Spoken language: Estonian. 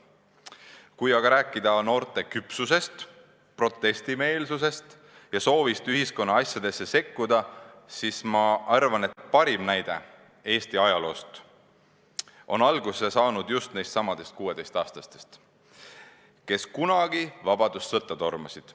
Kui aga rääkida noorte küpsusest, protestimeelsusest ja soovist ühiskonna asjadesse sekkuda, siis ma arvan, et parim näide Eesti ajaloost on alguse saanud just nendestsamadest 16-aastastest, kes kunagi vabadussõtta tormasid.